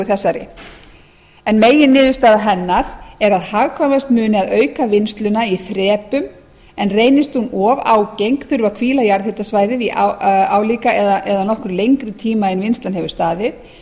þessari meginniðurstaða hennar er hagkvæmast muni að auka vinnsluna í þrepum en reynist hún of ágeng þurfi að hvíla jarðhitakerfið í álíka eða nokkru lengri tíma en vinnslan hefur staðið